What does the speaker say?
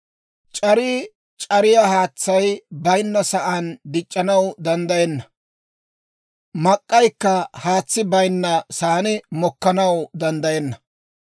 «C'arii c'ariyaa haatsay bayinna saan dic'c'anaw danddayenna; mak'k'aykka haatsi bayinna saan mokkanaw danddayenna.